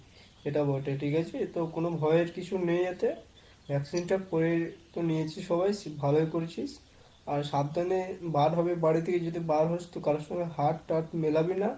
সেটা বটে ঠিক আছে? তো কোন ভয়ের কিছু নেই এতে, vaccine টা করে তো নিয়েছি সবাই ভালোই করেছিস। আর সাবধানে বাড়ি থেকে যদি বার হোস তো কারো সঙ্গে হাত টাত মেলাবি না।